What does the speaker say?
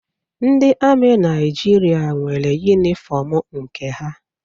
Ndị amị Naịjirịa nwere yunifọmụ nke ha.